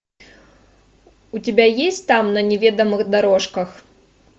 у тебя есть там на неведомых дорожках